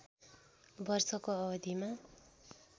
वर्षको अवधिमा